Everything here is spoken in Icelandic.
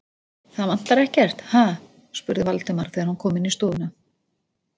Það vantar ekkert, ha? spurði Valdimar, þegar hann kom inn í stofuna.